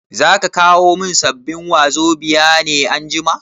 Zaka kawo min sabbin wazobia ne anjima?